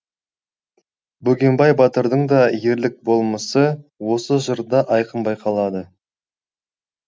бөгембай батырдың да ерлік болмысы осы жырда айқын байқалады